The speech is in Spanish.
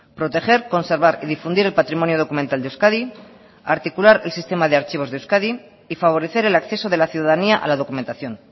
proteger conservar y difundir el patrimonio documental de euskadi articular el sistema de archivos de euskadi y favorecer el acceso de la ciudadanía a la documentación